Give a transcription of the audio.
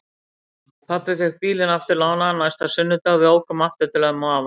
Pabbi fékk bílinn aftur lánaðan næsta sunnudag og við ókum aftur til ömmu og afa.